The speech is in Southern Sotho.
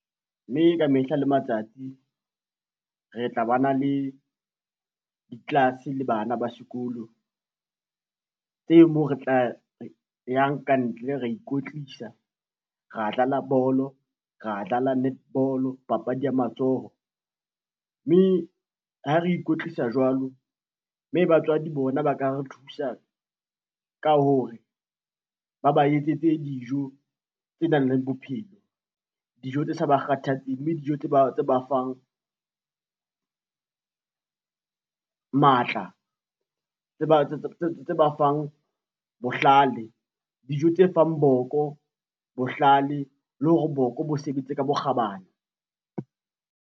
Mme ka mehla le matsatsi re tla ba na le ditlelase le bana ba sekolo, tse moo re tla yang ka ntle, ra ikwetlisa, ra dlala bolo, ra dlala netball papadi ya matsoho, mme ha re ikwetlisa jwalo mme batswadi bona ba ka re thusa ka hore ba ba etsetse dijo tse nang le bophelo. Dijo tse sa ba kgathatseng mme dijo tse ba fang matla, tse ba fang bohlale, dijo tse fang boko bohlale le hore boko bo sebetse ka bokgabane.